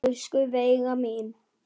Elsku Veiga mín.